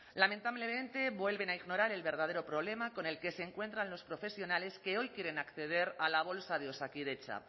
lamentablemente vuelven a ignorar el verdadero problema con el que se encuentran los profesionales que hoy quieren acceder a la bolsa de osakidetza